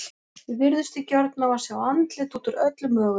Við virðumst því gjörn á að sjá andlit út úr öllu mögulegu.